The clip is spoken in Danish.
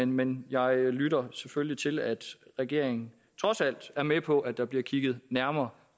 men jeg lytter selvfølgelig til at regeringen trods alt er med på at der bliver kigget nærmere